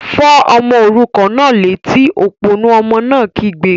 Fọ́ ọmọ òrukàn náà létí! Òpònú ọmọ náà kígbe